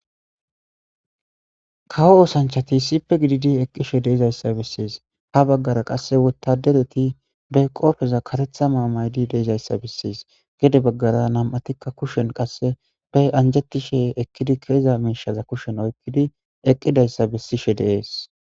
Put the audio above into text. Kawo oosanchati sippe gididi eqqishe deizayssa bessees ha baggara qasse wotadereti be qoofeza karetha maa maydi deizayssa bessees gede baggara nam7atikka kushen qasse be anjetishe ekkidi keeza miishaza kushen oykkidi eqqidayssa bessishe deees.